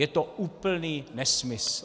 Je to úplný nesmysl.